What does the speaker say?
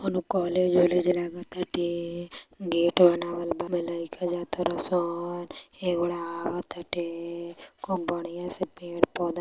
कौनों कॉलेज वालेज लागत टाते गेट बनाएल बा | लैका जात ताने सब खूब बढ़िया पेड़ पौधे --